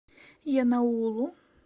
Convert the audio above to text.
янаулу